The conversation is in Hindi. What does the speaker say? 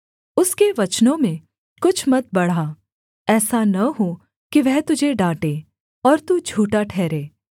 उसके वचनों में कुछ मत बढ़ा ऐसा न हो कि वह तुझे डाँटे और तू झूठा ठहरे